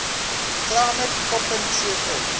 climate koppen cfa